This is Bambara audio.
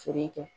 Feere kɛ